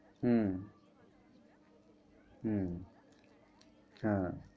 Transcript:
হুম, হুম, হ্যাঁ।